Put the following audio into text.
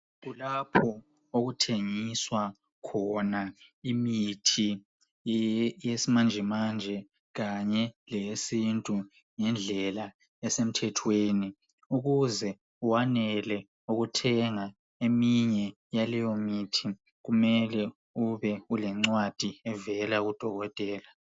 Kulapho okuthengiswa khona imithi yesimanje manje kanye leye sintu ngendlela esemthethweni ukuze wanele ukuthenga eminye yaleyo mithi kumele ubelencwadi evela kudokotela.